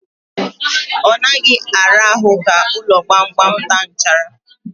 Ọ naghị ara ahụ ka ụlọ gbamgbam taa nchara.